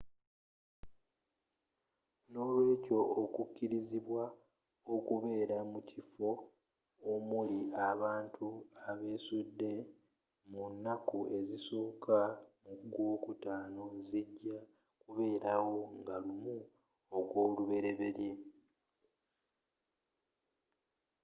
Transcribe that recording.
nolweekyo okukirizibwa okubeera mukifo omuli abantu abesudde mu naku ezisooka mugw'okutaano zijja kubeelawo nga 1 ogw'oluberyeberye